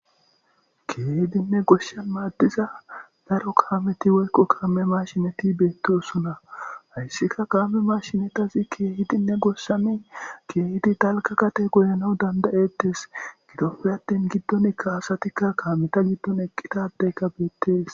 keehidinne goshshan maaddiza daro kaameti woykko kaame mashineti beettousuna hayssika kaame mashinetazi keehidinne goshsani keehidi dalka kate goyano dandayettes gidoppe attin giddonikka asatikka kaameta giddon eqqitadeyka beettees